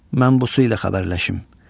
Mən bu su ilə xəbərləşim.